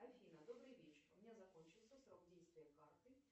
афина добрый вечер у меня закончился срок действия карты